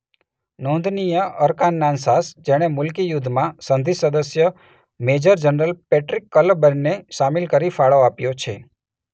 નોંધનીય અરકાનસાસ જેણે મૂલકી યુદ્ધમાં સંધિ સદસ્ય મેજર જનરલ પેટ્રીક કલેબર્નેને શામિલ કરી ફાળો આપ્યો છે.